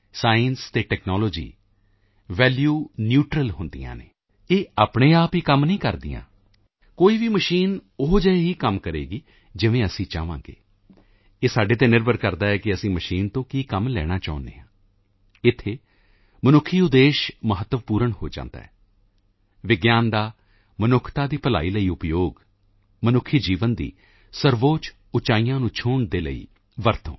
science ਅਤੇ technology value neutral ਹੁੰਦੀਆਂ ਹਨ ਇਹ ਆਪਣੇ ਆਪ ਹੀ ਕੰਮ ਨਹੀਂ ਕਰਦੀਆਂ ਕੋਈ ਵੀ ਮਸ਼ੀਨ ਉਹੋ ਜਿਹੇ ਹੀ ਕੰਮ ਕਰੇਗੀ ਜਿਵੇਂ ਅਸੀਂ ਚਾਹਾਂਗਾ ਇਹ ਸਾਡੇ ਤੇ ਨਿਰਭਰ ਕਰਦਾ ਹੈ ਕਿ ਅਸੀਂ ਮਸ਼ੀਨ ਤੋਂ ਕੀ ਕੰਮ ਲੈਣਾ ਚਾਹੁੰਦੇ ਹਾਂ ਇੱਥੇ ਮਨੁੱਖੀ ਉਦੇਸ਼ ਮਹੱਤਵਪੂਰਨ ਹੋ ਜਾਂਦਾ ਹੈ ਵਿਗਿਆਨ ਦਾ ਮਨੁੱਖਤਾ ਦੀ ਭਲਾਈ ਲਈ ਉਪਯੋਗ ਮਨੁੱਖੀ ਜੀਵਨ ਦੀ ਸਰਵਉੱਚ ਉਚਾਈਆਂ ਨੂੰ ਛੂਹਣ ਦੇ ਲਈ ਵਰਤੋਂ